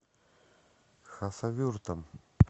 хасавюртом